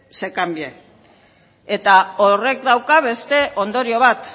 se cambie eta horrek dauka beste ondorio bat